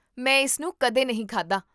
ਮੈਂ ਇਸਨੂੰ ਕਦੇ ਨਹੀਂ ਖਾਧਾ